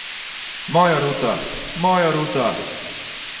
Moja Ruta, moja Ruta!